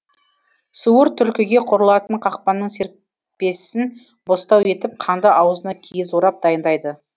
суыр түлкіге құрылатын қақпанның серіппесін бостау етіп қанды аузына киіз орап дайындайды